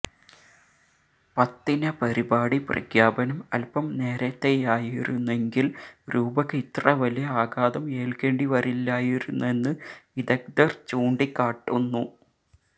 പത്തിന പരിപാടി പ്രഖ്യാപനം അല്പ്പം നേരത്തെയായിരുന്നെങ്കില് രൂപക്ക് ഇത്ര വലിയ ആഘാതം ഏല്ക്കേണ്ടിവരില്ലായിരുന്നെന്ന് വിദഗ്ധര് ചൂണ്ടിക്കാട്ടുന്നു